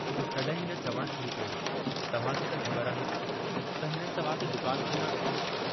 तंहिं हिन चवणु शुरू कयो, तव्हांखे त ख़बर आहे त हिननि तव्हांखे दुकान खोलण.... "